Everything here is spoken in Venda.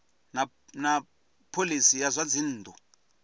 na phoisi ya zwa dzinnu